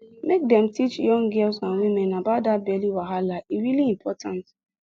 make dem dey teach young girls and women about that belly wahala e really important